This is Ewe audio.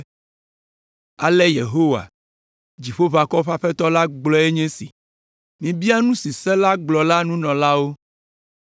“Ale Yehowa, Dziƒoʋakɔwo ƒe Aƒetɔ la gblɔe nye esi: ‘Mibia nu si se la gblɔ la nunɔlawo,